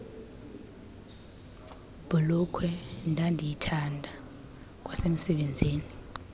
bhulukhwe ndandiyithanda kwasemsebenzini